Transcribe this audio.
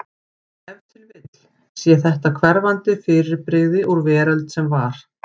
Ef til vill sé þetta hverfandi fyrirbrigði úr veröld sem var.